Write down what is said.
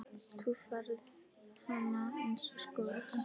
Þú færð hana eins og skot.